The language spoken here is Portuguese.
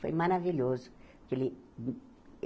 Foi maravilhoso. Que ele